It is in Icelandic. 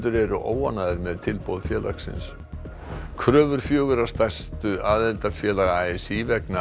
eru óánægðir með tilboð félagsins kröfur fjögurra stærstu aðildarfélaga a s í vegna